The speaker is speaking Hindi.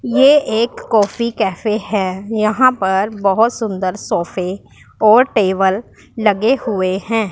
ये एक कॉफी कैफे हैं यहां पर बहोत सुंदर सोफे और टेबल लगे हुएं हैं।